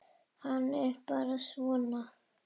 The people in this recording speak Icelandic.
Hann er bara svona.